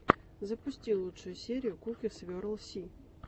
запусти лучшую серию куки сверл си